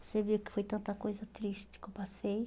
Você viu que foi tanta coisa triste que eu passei.